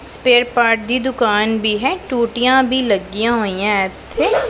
spare part ਦੀ ਦੁਕਾਨ ਵੀ ਹੈ ਟੂਟੀਆਂ ਵੀ ਲੱਗੀਆਂ ਹੋਈਆਂ ਇਥੇ